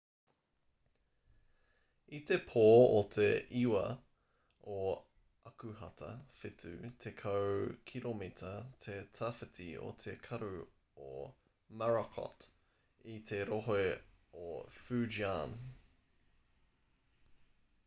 i te pō o te 9 o akuhata whitu tekau kiromita te tawhiti o te karu o morakot i te rohe o fujian